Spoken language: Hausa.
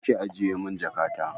Je ki ajiye min jakata!